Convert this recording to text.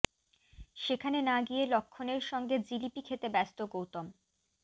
সেখানে না গিয়ে লক্ষ্মণের সঙ্গে জিলিপি খেতে ব্যস্ত গৌতম